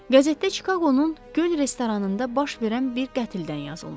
Qəzetdə Çikaqonun göl restoranında baş verən bir qətldən yazılmışdı.